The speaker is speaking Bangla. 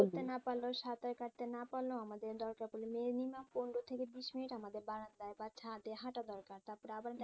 পারলেও সাঁতার কাটতে না পারলেও আমাদের দরকার পরলে minimum পনেরো থেকে বিশ মিনিট আমাদের বারান্দায় বাড়ির ছাদে হাঁটা দরকার তারপরে আবার